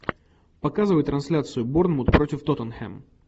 показывай трансляцию борнмут против тоттенхэм